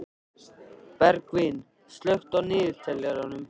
Bergvin, slökktu á niðurteljaranum.